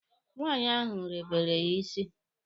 Nwaanyị ahụ rebeere ya isi.